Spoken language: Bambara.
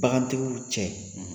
Bagantigiw cɛ